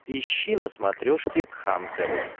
ищи на смотрешке кхлм тв